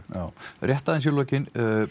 rétt aðeins í lokin